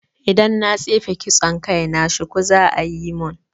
Idan na tsefe kitson kai na, shuku za'a yi mun